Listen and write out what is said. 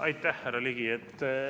Aitäh, härra Ligi!